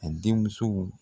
A den muso